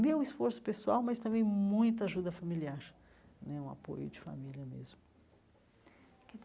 Meu esforço pessoal, mas também muita ajuda familiar né, um apoio de família mesmo.